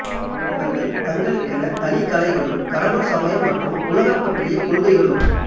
இவர்கள் தங்களுக்கென தனி கலைகளும் கடவுள் சமயம் மற்றும் உலகம் பற்றிய கொள்கைகளும்